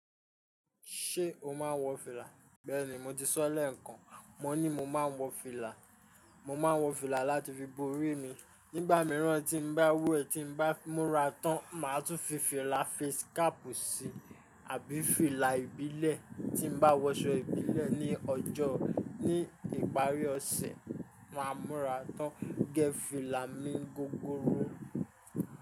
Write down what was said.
Ṣé o máa ń wọ fìlà? Bẹ́ẹ̀ni, mo ti sọ́ lẹ́ẹ̀kan. Mọ ní mọ máa ń wọ fìlà. Mo máa ń wọ fìlà láti fi bo orí mi. Nígbà mìíràn tí n bá wẹ̀, tí n bá múra tán, màá tún fi fìlà face cap síi, àbí fìlà ìbílẹ̀. Tí n bá wọṣọ ìbílẹ̀ ní ọjọ́, ní ìparí ọ̀sẹ̀ máa múra tán gẹ́ fìlà mi gogoro.